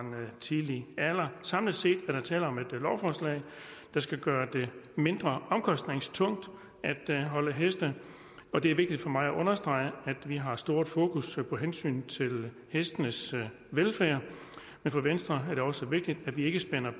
en tidlig alder samlet set er der tale om et lovforslag der skal gøre det mindre omkostningstungt at holde heste og det er vigtigt for mig at understrege at vi har stort fokus på hensynet til hestenes velfærd men for venstre er det også vigtigt at vi ikke spænder